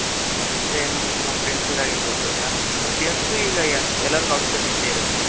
ಅಂದ್ರೆ ಏನು ನಿಮ್ಮ friendsಗೆ ಆಗಿರ್ಬಹುದು ಯಾರಾರು ಬಡ್ಡಿ ಅoತು ಈಗ ಎಲಾರ್ಗು ಅವಶ್ಯಕತೆ ಇದ್ದೆ ಇರುತ್ತೆ.